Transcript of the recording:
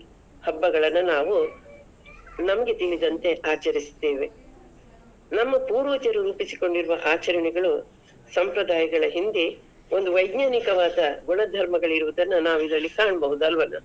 ಹಬ್ಬಗಳನ್ನ ನಾವು ನಮ್ಗೆ ತಿಳಿದಂತೆ ಆಚರಿಸ್ತೆವೆ ನಮ್ಮ ಪೂರ್ವಜರು ರೂಪಿಸಿಕೊಂಡಿರುವ ಆಚರಣೆಗಳು, ಸಂಪ್ರದಾಯಗಳ ಹಿಂದೆ ಒಂದು ವೈಜ್ನಾನಿಕವಾದ ಗುಣಧರ್ಮಗಲಿರುವುದನ್ನ ನಾವಿದ್ರಲ್ಲಿ ಕಾನ್ಬೋದಲ್ಲ ಅಲ್ವಾನ?